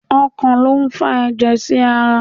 Ọkàn lo n fà ẹjẹ sí ará